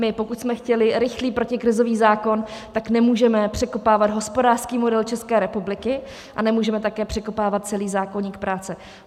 My, pokud jsme chtěli rychlý protikrizový zákon, tak nemůžeme překopávat hospodářský model České republiky a nemůžeme také překopávat celý zákoník práce.